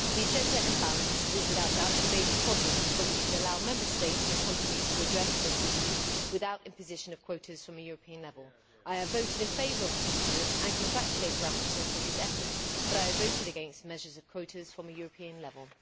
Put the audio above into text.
The gender imbalance is without doubt a major problem but we should allow Member States and companies to address this issue without imposition of quotas from a European level. I voted in favour of this report and congratulate the rapporteur for his efforts but I voted against measures on quotas from a European level.